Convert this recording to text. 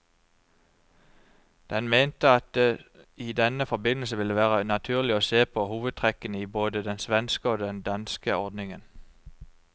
Den mente at det i denne forbindelse ville være naturlig å se på hovedtrekkene i både den svenske og den danske ordningen.